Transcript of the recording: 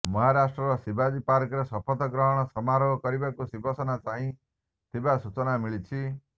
ମହାରାଷ୍ଟ୍ରର ଶିବାଜୀ ପାର୍କରେ ଶପଥ ଗ୍ରହଣ ସମାରୋହ କରିବାକୁ ଶିବସେନା ଚାହିଁଥିବା ସୂଚନା ମିଳିଛି